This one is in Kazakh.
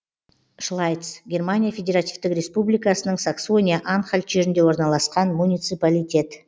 шлайц германия федеративтік республикасының саксония анхальт жерінде орналасқан муниципалитет